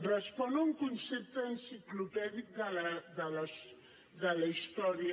respon a un concepte enciclopèdic de la història